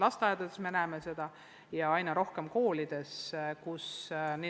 Lasteaedades me näeme seda palju ja aina rohkem ka koolides.